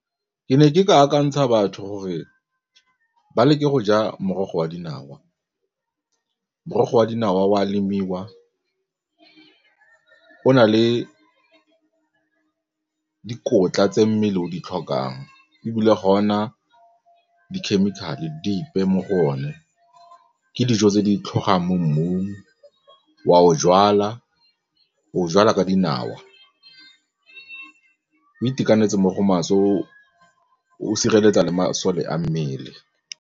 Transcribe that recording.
Ke ne ke ka akantsha batho gore ba leke go ja morogo wa dinawa, morogo wa dinawa o a lemiwa, o na le dikotla tse mmele o di tlhokang ebile ga ona di-chemical-e dipe mo go one, ke dijo tse di tlhogang mo mmung o wa o jwala, o o jala ka dinawa o itekanetse mo go maswe o sireletsa le masole a mmele.